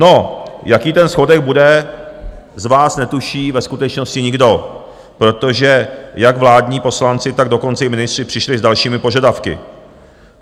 No jaký ten schodek bude, z vás netuší ve skutečnosti nikdo, protože jak vládní poslanci, tak dokonce i ministři přišli s dalšími požadavky.